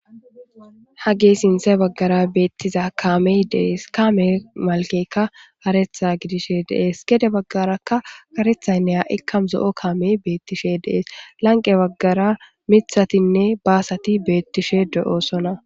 Ha gee sinsa baggara beettiza kaamey dees kaame malkekka haretha gidishe deees gede baggarakka karethaynne ha'ikka zo'o kaamey beettishe deees lanqe baggara mithatinne baasati beettishe do'oo sona.